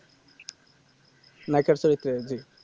নায়িকা চরিত্রে জি